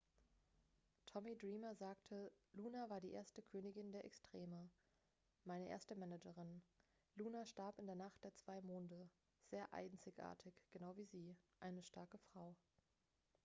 "tommy dreamer sagte: "luna war die erste königin der extreme. meine erste managerin. luna starb in der nacht der zwei monde. sehr einzigartig genau wie sie. eine starke frau.""